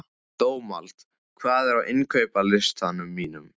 Dómald, hvað er á innkaupalistanum mínum?